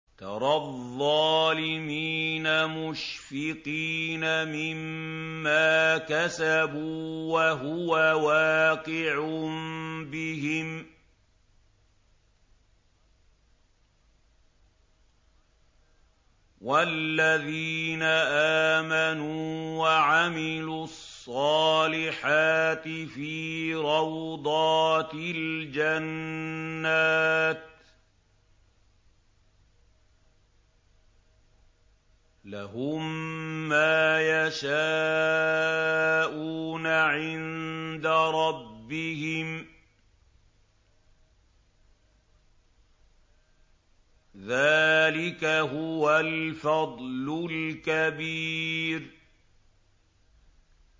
تَرَى الظَّالِمِينَ مُشْفِقِينَ مِمَّا كَسَبُوا وَهُوَ وَاقِعٌ بِهِمْ ۗ وَالَّذِينَ آمَنُوا وَعَمِلُوا الصَّالِحَاتِ فِي رَوْضَاتِ الْجَنَّاتِ ۖ لَهُم مَّا يَشَاءُونَ عِندَ رَبِّهِمْ ۚ ذَٰلِكَ هُوَ الْفَضْلُ الْكَبِيرُ